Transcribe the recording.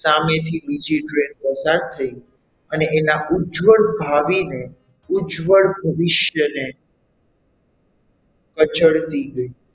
સામેથી બીજી train પસાર થઈ અને એના ઉજવળ ભાવીને ઉજવળ ભવિષ્યને રજળતી ગઈ.